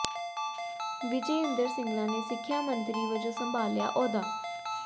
ਵਿਜੈ ਇੰਦਰ ਸਿੰਗਲਾ ਨੇ ਸਿੱਖਿਆ ਮੰਤਰੀ ਵਜੋਂ ਸੰਭਾਲਿਆ ਅਹੁਦਾ